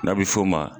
N'a bɛ f'o ma